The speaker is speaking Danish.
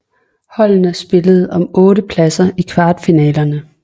Holdene spillede om otte pladser i kvartfinalerne